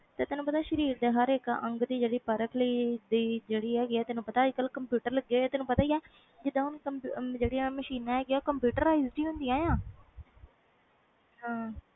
ਤੇ ਤੈਨੂੰ ਪਤਾ ਸ਼ਰੀਰ ਦੇ ਹਰ ਇਕ ਅੰਗ ਦੇ ਪਰਖ ਲਈ ਜਿਹੜੀ ਹੈ ਗੀ ਤੈਨੂੰ ਪਤਾ ਅਜੇ ਕਲ ਕੰਪਿਊਟਰ ਲਗੇ ਹੋਏ ਆ ਜੀਂਦਾ ਹੁਣ ਮਸ਼ੀਨਾਂ ਹੈ ਗਿਆ ਉਹ computerized ਹੁੰਦੀਆਂ